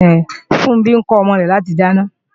Funbí ń kọ́ ọmọ rẹ láti dáná